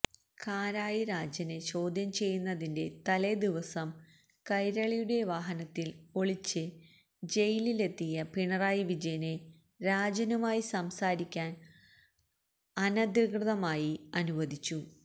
കാരായി രാജനെ ചോദ്യം ചെയ്യുന്നതിന്റെ തലേദിവസം കൈരളിയുടെ വാഹനത്തില് ഒളിച്ച് ജയിലിലെത്തിയ പിണറായി വിജയനെ രാജനുമായി സംസാരിയ്ക്കാന് അനധികൃതമായി അനുവദിച്ചു